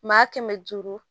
Maa kɛmɛ duuru